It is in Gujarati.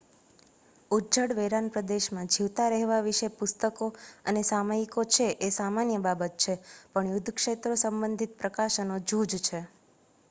ઉજ્જડ વેરાન પ્રદેશમાં જીવતા રહેવા વિશે પુસ્તકો અને સામયિકો છે એ સામાન્ય બાબત છે પણ યુદ્ધ ક્ષેત્રો સંબંધિત પ્રકાશનો જૂજ છે